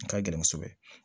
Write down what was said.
A ka gɛlɛn kosɛbɛ